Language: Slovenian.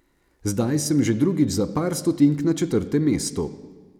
Zdaj sem že drugič za par stotink na četrtem mestu.